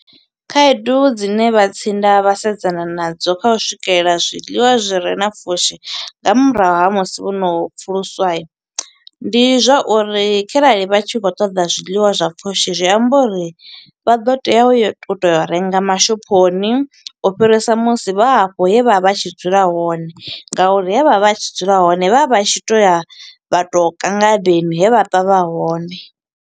Khaedu dzine vha tsinda vha sedzana nadzo kha u swikelela zwiḽiwa zwi re na pfushi nga murahu ha musi vhono pfuluswa. Ndi zwa uri kharali vha tshi khou ṱoḓa zwiḽiwa zwa pfushi, zwi amba uri, vha ḓo tea u yo to, to renga mashophoni, u fhirisa musi vha hafho he vha vha tshi dzula hone. Nga uri he vha vha vha tshi dzula hone, vha vha tshi to ya vha to ka ngadeni, he vha ṱwa vha hone.